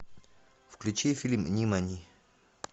включи фильм нимани